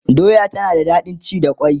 doya tana da daɗin ci da kwai